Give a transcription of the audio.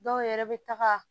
Dɔw yɛrɛ bɛ taga